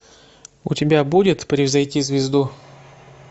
у тебя будет превзойти звезду